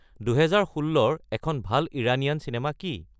দুহেজাৰ ষোল্লৰ এখন ভাল ইৰানীয়ান চিনেমা কি